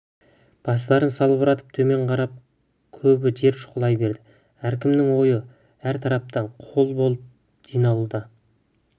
бастарын салбыратып төмен қарап көбі жер шұқылай береді әркімнің ойы әр тарапта қол болып жиналуына